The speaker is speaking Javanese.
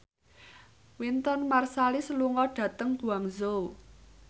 Wynton Marsalis lunga dhateng Guangzhou